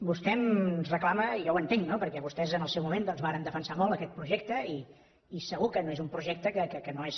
vostè ens reclama i jo ho entenc no perquè vostès en el seu moment doncs varen defensar molt aquest projecte i segur que no és un projecte que no és